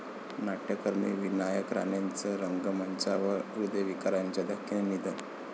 नाट्यकर्मी विनायक राणेंचं रंगमंचावरच हृदयविकाराच्या धक्क्याने निधन